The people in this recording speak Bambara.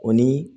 O ni